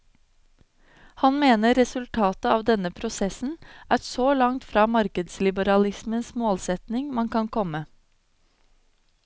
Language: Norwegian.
Han mener resultatet av denne prosessen er så langt fra markedsliberalismens målsetting man kan komme.